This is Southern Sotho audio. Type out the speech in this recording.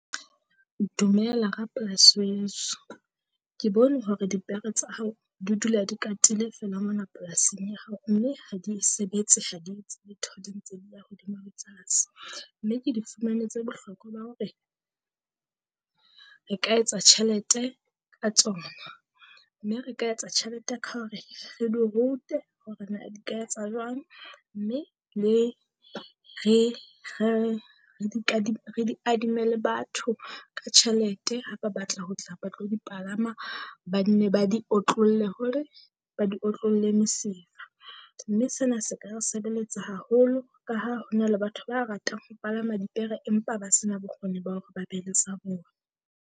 Dumela ra-plaas weso, ke bone hore dipere tsa hao di dula di katile feela mona polasing ya hao mme ha di sebetse, ha di etse letho di ntse di ya hodima le tlase. Mme ke di fumanetse bohlokwa ba hore re ka etsa tjhelete ka tsona mme re ka etsa tjhelete ka hore re di rute hore na di ka etsa jwang. Mme le re re re di re di adime le batho ka tjhelete. Ha ba batla ho tla ba tlo di palama, ba nne ba di otlolle hore ba di otlolle mosifa, mme sena se ka re sebeletsa haholo ka ha ho na le batho ba ratang ho palama dipere empa ba sena bokgoni ba hore ba be le sa bone.